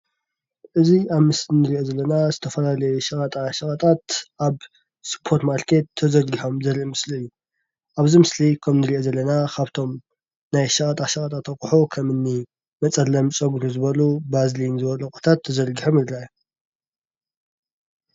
እዚ አብ ምስሊ እንሪኦ ዘለና ዝተፈላለዩ ሸቀጣ ሸቀጣት አብ ስፖርማርኬት ተዘርጊሖም ዘርኢ ምስሊ እዩ፡፡ አብዚ ምስሊ ከም እንሪኦ ዘለና ካብቶም ናይ ሸቀጣ ሸቀጣት አቑሑ ከምኒ መፀለሚ ፀጉሪ ዝበሉ ቫዝሊን ዝበሉ አቑሑታት ተዘርጊሖም ይርአ፡፡